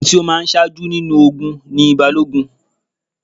Ẹni tí ó má a ń sájú nínú ogun ni Balógun